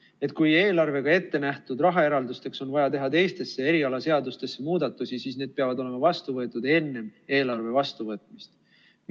Et kui eelarvega ettenähtud rahaeraldusteks on vaja teha teistesse erialaseadustesse muudatusi, siis need peavad olema vastu võetud enne eelarve vastuvõtmist.